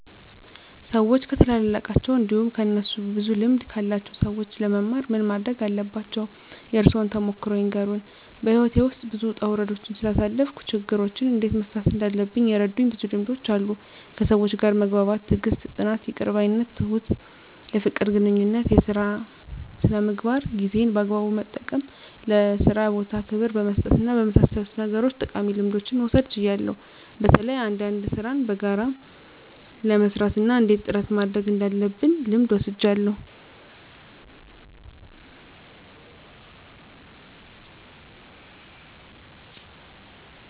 ሰዎች ከታላላቃቸው እንዲሁም ከእነሱ ብዙ ልምድ ካላቸው ሰዎች ለመማር ምን ማረግ አለባቸው? የእርሶን ተሞክሮ ይንገሩን? *በሕይወቴ ውስጥ ብዙ ውጣ ውረዶችን ስላሳለፍኩ፣ ችግሮችን እንዴት መፍታት እንዳለብኝ የረዱኝ ብዙ ልምዶች አሉ፤ ከሰዎች ጋር መግባባት፣ ትዕግስት፣ ጽናት፣ ይቅር ባይነት፣ ትሁት፣ የፍቅር ግንኙነት፣ የሥራ ሥነ ምግባር፣ ጊዜን በአግባቡ መጠቀም፣ ለሥራ ቦታ ክብር በመስጠትና በመሳሰሉት ነገሮች ጠቃሚ ልምዶችን መውሰድ ችያለሁ። በተለይ አንዳንድ ሥራን በጋራ ለመሥራት እና እንዴት ጥረት ማድረግ እንዳለብ ልምድ ወስጃለሁ።